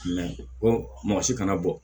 mɔgɔ si kana bɔ